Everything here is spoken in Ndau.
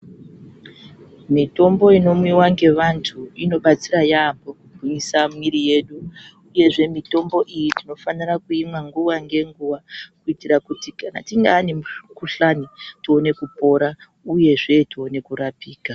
Mitombo inomwiwa nevantu inobatsira yambo kuti isa mwiri yedu uyezve tinofanira kuimwa nguwa ngenguwa kuitira kuti kana tine imweni mukuhlani tione kupora uyezve tione kurapika.